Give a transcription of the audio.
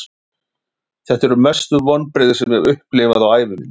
Þetta eru mestu vonbrigði sem ég hef upplifað á ævi minni.